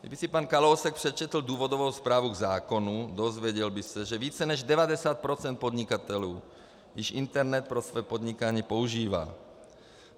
Kdyby si pan Kalousek přečetl důvodovou zprávu k zákonu, dozvěděl by se, že více než 90 % podnikatelů již internet pro své podnikání používá.